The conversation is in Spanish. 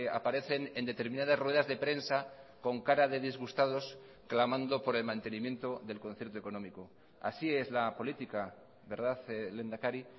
aparecen en determinadas ruedas de prensa con cara de disgustados clamando por el mantenimiento del concierto económico así es la política verdad lehendakari